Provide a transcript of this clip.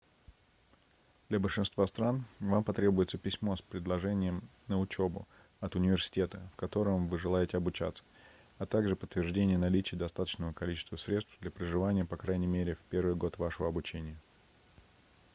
для большинства стран вам потребуется письмо с предложением на учебу от университета в котором вы желаете обучаться а также подтверждение наличия достаточного количества средств для проживания по крайней мере в первый год вашего обучения